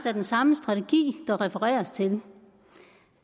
er den samme strategi der refereres til